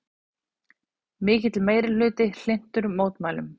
Mikill meirihluti hlynntur mótmælum